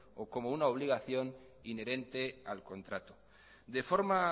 o como una obligación inherente al contrato de forma